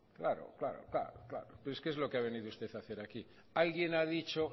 claro claro claro pero es que es lo que ha venido usted a hacer aquí alguien ha dicho